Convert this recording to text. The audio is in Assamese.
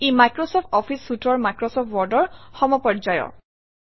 ই মাইক্ৰচফ্ট অফিছ Suite অৰ মাইক্ৰচফ্ট Word অৰ সমপৰ্যায়ৰ